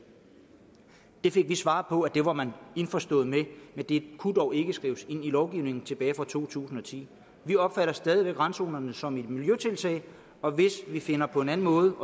vi fik det svar på det at det var man indforstået med men det kunne dog ikke skrives ind i lovgivningen tilbage fra to tusind og ti vi opfatter stadig væk randzonerne som et miljøtiltag og hvis vi finder på en anden måde